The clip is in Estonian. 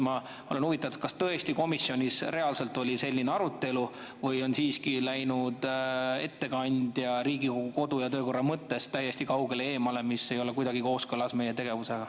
Ma olen huvitatud, kas tõesti komisjonis reaalselt oli selline arutelu või on siiski ettekandja läinud Riigikogu kodu‑ ja töökorra mõttest kaugele eemale, mis ei ole kuidagi kooskõlas meie tegevusega.